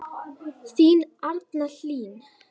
Þín, Arna Hlín.